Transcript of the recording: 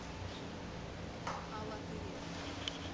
алатыре